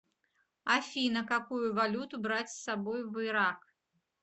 афина какую валюту брать с собой в ирак